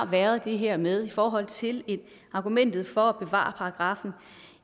været det her med i forhold til argumentet for at bevare paragraffen